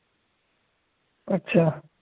अच्छा.